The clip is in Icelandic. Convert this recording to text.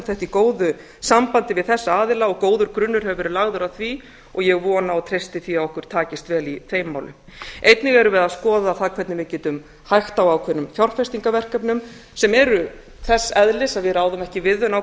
í góðu sambandi við þessa aðila og góður grunnur hefur verið lagður að því og ég vona og treysti því að okkur takist vel í þeim málum einnig erum við að skoða það hvernig við getum hægt á ákveðnum fjárfestingarverkefnum sem eru þess eðlis að við ráðum ekki við þau